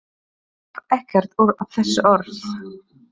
Hann gaf ekkert út á þessi orð.